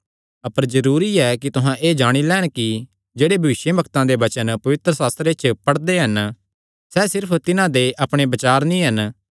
अपर जरूरी ऐ कि तुहां एह़ जाणी लैन कि जेह्ड़े भविष्यवक्ता दे वचन पवित्रशास्त्रे च पढ़दे हन सैह़ सिर्फ तिन्हां दे अपणे बचार नीं हन